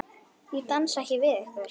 Ég dansa ekki við ykkur.